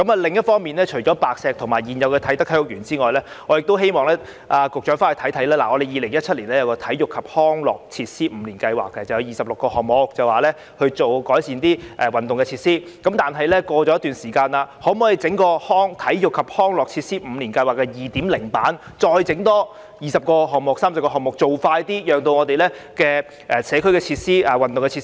另一方面，除了白石和啟德體育園外，我亦希望局長回去考慮，當局曾在2017年提出《體育及康樂設施五年計劃》，以期開展26個項目，改善運動設施，但現在已過了一段時間，當局可否推出《體育及康樂設施五年計劃 2.0 版》，再開展二三十個項目，加快工作，增加我們的社區設施和運動設施。